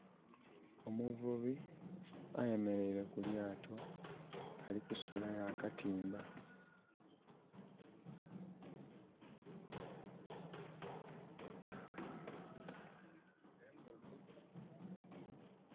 Omuvubi ayemereire kulyato alikusulayo akatimba